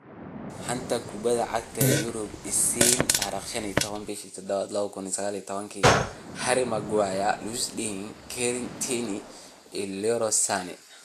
Xanta Kubadda Cagta Yurub Isniin 15.07.2019: Harry Maguire, Lewis Dunk, Kieran Tierney, Leroy Sane